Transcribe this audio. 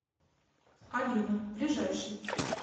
алина ближайший